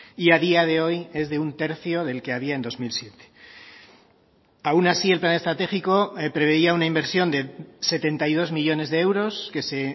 y a día de hoy es de un tercio del que había en dos mil siete aun así el plan estratégico preveía una inversión de setenta y dos millónes de euros que se